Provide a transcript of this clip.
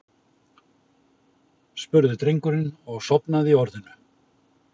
spurði drengurinn og sofnaði í orðinu.